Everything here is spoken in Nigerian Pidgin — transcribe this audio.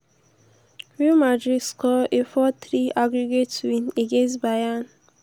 real madrid score a four-three aggregate win against bayern.